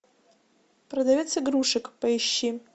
продавец игрушек поищи